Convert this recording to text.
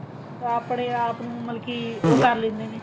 ਤਾਂ ਆਪਣੇ ਆਪ ਨੂੰ ਮਤਲਬ ਕੀ ਉਹ ਕ਼ਰ ਲੈਂਦੇ ਨੇ